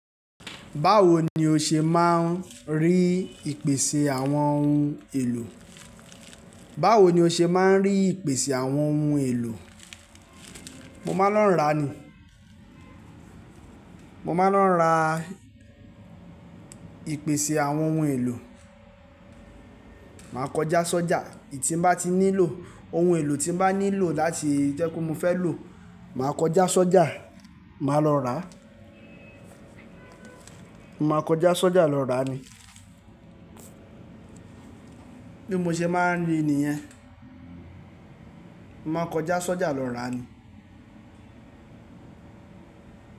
Báwo ni o ṣe máa ń rí ìpèsè àwọn ohun èlò? Báwo ni o ṣe máa ń rí ìpèsè àwọn ohun èlò? Mo máa ń lọ ra nii. Mo máa ń lọ ra ìpèsè àwọn ohun èlò. Máa kọjá sọ́jà èyí tí n bá ti nílò, ohun èlò tí n bá nílò láti jẹ́ kó mo fẹ́ lò, màá kọjá sọ́jà, màá lọ ràá. Màá kọjá sọ́jà lọ rà á ni. Bí mo ṣe máa ń rí nìyẹn. Màá kọjá sọ́jà lọ rà á ni.